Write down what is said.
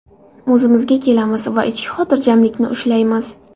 O‘zimizga kelamiz va ichki xotirjamlikni ushlaymiz.